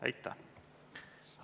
Aitäh!